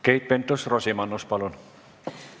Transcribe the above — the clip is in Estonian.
Keit Pentus-Rosimannus, palun!